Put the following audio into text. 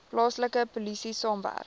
plaaslike polisie saamwerk